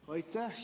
Aitäh!